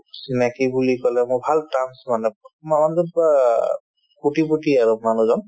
চিনাকি বুলি ক'লে মোৰ ভাল তাম্চ মানে কোটিপুতি আৰু মানুহজন